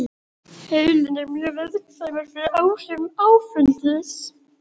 Heilinn er mjög viðkvæmur fyrir áhrifum áfengis.